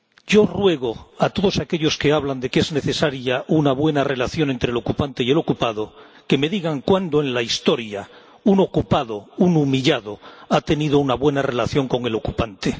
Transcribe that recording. yo ruego a todos aquellos que hablan de que es necesaria una buena relación entre el ocupante y el ocupado que me digan cuándo en la historia un ocupado, un humillado ha tenido una buena relación con el ocupante.